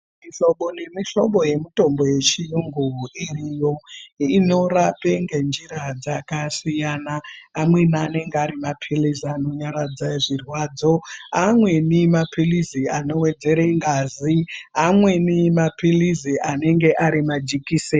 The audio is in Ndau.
Mihlobo nemihlobo yemitombo yechiyungu iriyo inorape ngenjira dzakasiyana amweni anenge ari mapilizi anonyaradza zvirwadzo amweni mapilizi anowedzere ngazi amweni mapilizi anenge ari majekiseni.